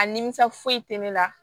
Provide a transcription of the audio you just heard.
A nimisa foyi tɛ ne la